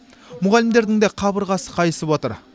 мұғалімдердің де қабырғасы қайысып отыр